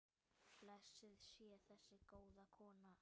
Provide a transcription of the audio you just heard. Blessuð sé þessi góða kona.